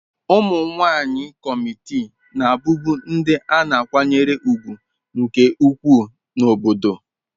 Ụmụ nwanyị kọmitii na-abụbu ndị a na-akwanyere ùgwù nke ukwuu n'obodo.